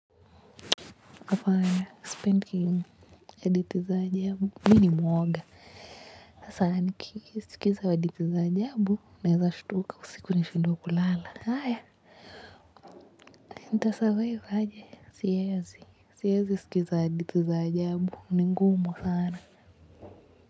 Fanya, sipendi hadithi za ajabu. Mimi ni mwoga. Hasaa, nikisikiza hadithi za ajabu. Nawezashtuka usiku nishindwe kulala. Haya, nita survive aje. Siwezi, siwezi sikiza hadithi za ajabu. Ni ngumu sana.